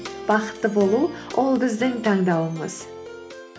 бақытты болу ол біздің таңдауымыз